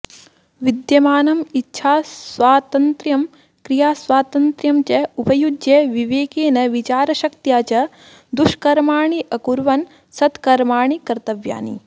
विद्यमानम् इच्छास्वातन्त्र्यं क्रियास्वातन्त्र्यं च उपयुज्य विवेकेन विचारशक्त्या च दुष्कर्माणि अकुर्वन् सत्कर्माणि कर्तव्यानि